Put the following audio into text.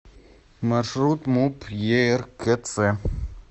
маршрут муп еркц